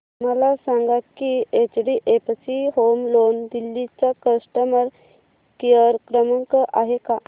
मला सांगा की एचडीएफसी होम लोन दिल्ली चा कस्टमर केयर क्रमांक आहे का